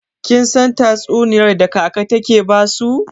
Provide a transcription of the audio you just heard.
Kin san tatsuniyar da kaka take basu?